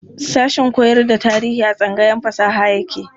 Sashen koyar da tarihi a tsangayar fasaha yake.